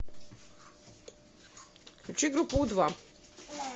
включи группу у два